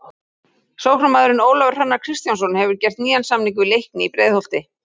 Sóknarmaðurinn Ólafur Hrannar Kristjánsson hefur gert nýjan samning við Leikni í Breiðholti.